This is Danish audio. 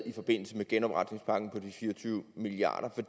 i forbindelse med genopretningspakken på de fire og tyve milliard